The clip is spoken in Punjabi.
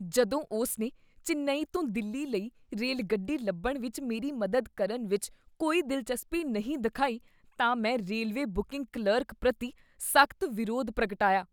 ਜਦੋਂ ਉਸ ਨੇ ਚੇਨੱਈ ਤੋਂ ਦਿੱਲੀ ਲਈ ਰੇਲਗੱਡੀ ਲੱਭਣ ਵਿੱਚ ਮੇਰੀ ਮਦਦ ਕਰਨ ਵਿੱਚ ਕੋਈ ਦਿਲਚਸਪੀ ਨਹੀਂ ਦਿਖਾਈ ਤਾਂ ਮੈਂ ਰੇਲਵੇ ਬੁਕਿੰਗ ਕਲਰਕ ਪ੍ਰਤੀ ਸਖ਼ਤ ਵਿਰੋਧ ਪ੍ਰਗਟਾਇਆ ।